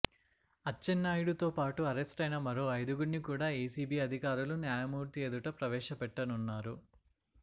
అచ్చెన్నాయుడు తోపాటు అరెస్టైన మరో ఐదుగురిని కూడా ఏసీబీ అధికారులు న్యాయమూర్తి ఎదుట ప్రవేశపెట్టనున్నారు